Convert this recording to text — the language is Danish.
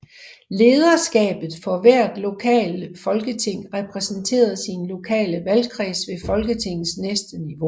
Lederskabet for hvert lokale folketing repræsenterede sin lokale valgkreds ved Folketingets næste niveau